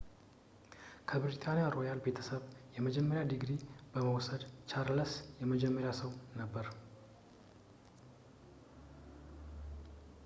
ከብሪታንያ ሮያል ቤተሰብ የመጀመሪያ ዲግሪ በመውሰድ ቻርለስ የመጀመሪያው ሰው ነበር